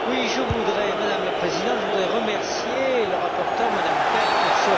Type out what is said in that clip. Madame la Présidente, je voudrais remercier la rapporteure, M Petre, pour ce rapport.